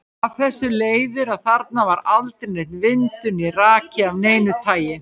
Af þessu leiðir að þarna er aldrei neinn vindur né raki af neinu tagi.